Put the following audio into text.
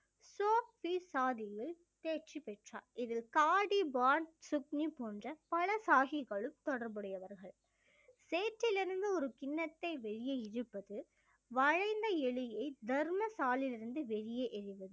சாதியில் தேர்ச்சி பெற்றார் இதில் காடி பான் சுக்னி போன்ற பல சாகிகளும் தொடர்புடையவர்கள் சேற்றிலிருந்து ஒரு கிண்ணத்தை வெளியே இழுப்பது வளைந்த எலியை தர்மசாலிலில் இருந்து வெளியே எறிவது